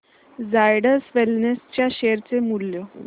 Zydus wellness च्या share चे मूल्य